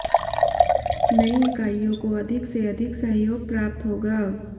नई इकाईयों को अधिक से अधिक सहयोग प्राप्त होगा